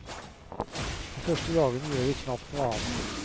De første dagene gjør vi knapt noe annet.